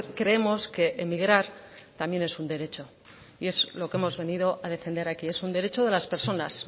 creemos que emigrar también es un derecho y es lo que hemos venido a defender aquí es un derecho de las personas